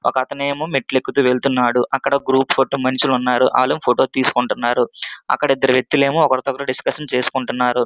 ఒక వ్వక్తి ఏమో మెట్లు ఎక్కుతూ వెళ్తున్నారు. అక్కడ ఏమో ఒక గ్రూప్ ఫోటో మనుషులు ఉన్నారు. మనుషులు ఉన్నారు. అక్కడ వ్వక్తులు ఏమో ఒకరి తో ఒకరు డిస్కస్ చేస్తున్నారు.